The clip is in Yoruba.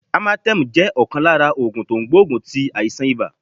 Amatem jẹ́ ọ̀kan lára ògùn tó n gbógun ti àìsàn ibà